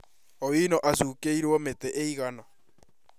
Owino acukĩirũo mĩtĩ ĩigana